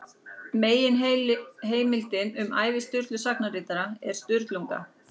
Meginheimildin um ævi Sturlu sagnaritara er Sturlunga.